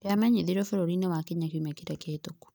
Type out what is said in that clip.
yamenyithirio bũrũri-inĩ wa Kenya kiumia kĩrĩa kĩhĩtũku.